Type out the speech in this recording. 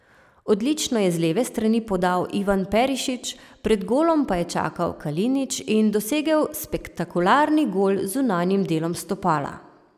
Odlično je z leve strani podal Ivan Perišić, pred golom pa je čakal Kalinić in dosegel spektakularni gol z zunanjim delom stopala.